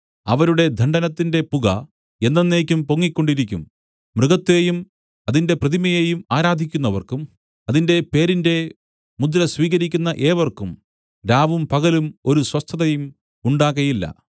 അവരുടെ ദണ്ഡനത്തിന്റെ പുക എന്നെന്നേക്കും പൊങ്ങിക്കൊണ്ടിരിക്കും മൃഗത്തെയും അതിന്റെ പ്രതിമയേയും ആരാധിക്കുന്നവർക്കും അതിന്റെ പേരിന്റെ മുദ്ര സ്വീകരിക്കുന്ന ഏവർക്കും രാവും പകലും ഒരു സ്വസ്ഥതയും ഉണ്ടാകയില്ല